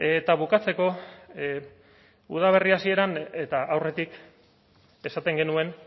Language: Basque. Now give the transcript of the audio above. eta bukatzeko udaberri hasieran eta aurretik esaten genuen